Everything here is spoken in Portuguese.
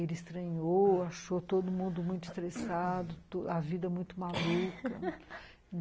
Ele estranhou, achou todo mundo muito estressado, a vida muito maluca.